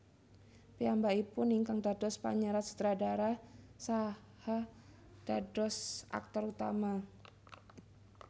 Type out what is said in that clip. Piyambakipun ingkang dados panyerat sutradara saha dados aktor utama